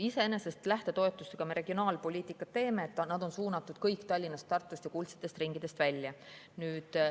Iseenesest me lähtetoetustega regionaalpoliitikat teeme, sest nad on suunatud kõik Tallinnast, Tartust ja kuldsetest ringidest välja.